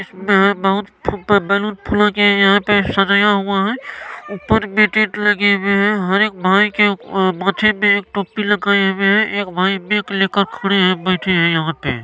इसमे मंथ पर बैलून फुल कर सजाया हुआ है ऊपर मे टेन्ट लगे हूए है हरेक भाई के उप्प -- माथे मे एक टोपी लगाए हुए है एक भाई माइक लेकर खड़े है-बैठे है यहाँ पे--